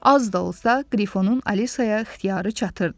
Az da olsa, Qrifonun Alisaya ixtiyarı çatırdı.